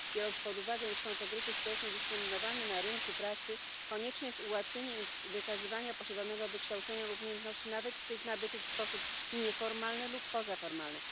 Biorąc pod uwagę, iż są to grupy społecznie dyskryminowane na rynku pracy, konieczne jest ułatwianie im wykazywania posiadanego wykształcenia lub umiejętności, nawet tych nabytych w sposób nieformalny lub pozaformalny.